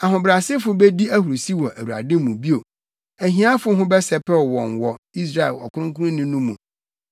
Ahobrɛasefo bedi ahurusi wɔ Awurade mu bio; ahiafo ho bɛsɛpɛw wɔn wɔ Israel Ɔkronkronni no mu.